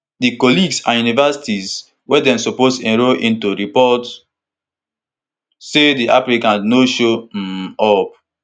di colleges and universities wey dem suppose enrol into report say di applicants no show um up